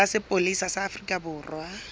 sa sepolesa sa afrika borwa